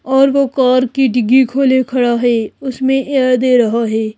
और वो कार की डिग्गी खोले खड़ा है उसमें एयर दे रहा है।